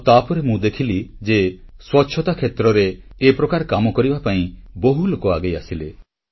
ଆଉ ତାପରେ ତ ମୁଁ ଦେଖିଲି ଯେ ସ୍ୱଚ୍ଛତା କ୍ଷେତ୍ରରେ ଏ ପ୍ରକାର କାମ କରିବା ପାଇଁ କେତେ ଲୋକ ଆଗେଇ ଆସିଲେ